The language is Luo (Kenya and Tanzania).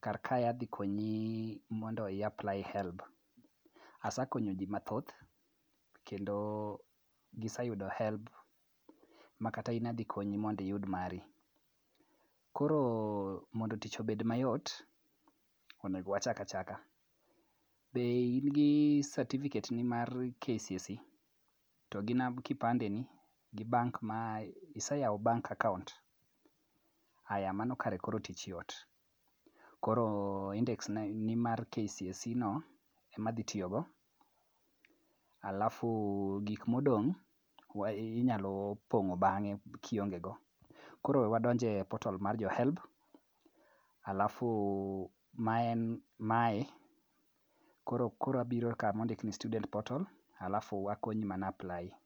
Kar kae adhi konyi mondo i apply HELB. asekonyo ji mathoth kendo giseyudo HELB makata in adhi konyi mondo iyud mari. Koro mondo tich obed mayot, onego wachak achaka. Be in gi satifiketni mar KCSE to gi kipande ni. Iseyawo bank account?. Aya mano kare koro tich yot, koro indeks ni mar KCSEno ema adhi tiyogo, alafu gik modong' inyalo pong'o bang'e kiongego. Koro we wadonj e portal mar jo HELB alafu ma en mae, koro abiro kamondik ni students portal alafu akonyi mana apply.